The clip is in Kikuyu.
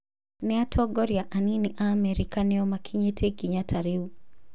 Nĩatongoria anini aamerika nĩo makinyĩtie ikinya ta rĩu